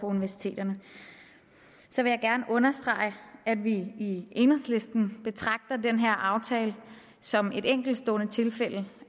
universiteterne så vil jeg gerne understrege at vi i enhedslisten betragter den her aftale som et enkeltstående tilfælde